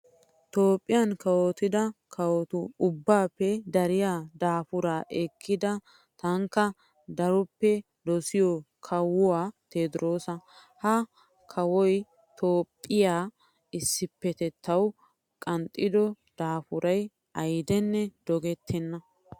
Toophphiyan kawotida kawotu ubbaappe dariyaa daapuraa ekkida tankka daroppe dosiyoyi kawuwaa tewodirosaa. Ha kawoyi Toophphiyaa issippetettawu qanxxido daapurayi ayiden dogettenna.